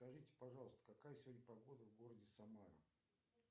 скажите пожалуйста какая сегодня погода в городе самара